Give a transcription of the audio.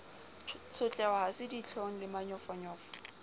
tshotleho ha se ditlhong lemanyofonyofo